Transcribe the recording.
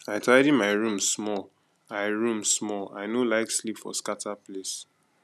i tidy my room small i room small i no like sleep for scatter place